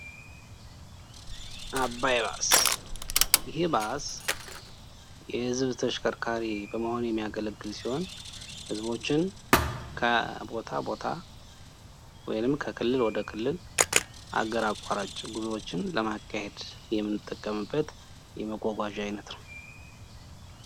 አባይ ባስ፦ እሂ ባስ የህዝብ ተሽከርካሪ በመሆን የሚያገለግል ሲሆን ህዝቦችን ከቦታ ቦታ ወይንም ከክልል ወደ ክልል አገር አቋራጭ ጉዞወችን ለማካሄድ የምንጠቀምበት የመጓጓዣ አዪነት ነው።